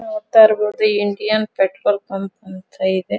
ನೋಡ್ತಾ ಇರಾಬಹುದು Indian petrol bunk ಅಂತ ಇದೆ.